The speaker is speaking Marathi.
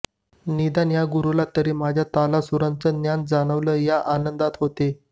निदान या गुरुला तरी माझ्या तालासुराचं ज्ञान जाणवलं या आनंदात होते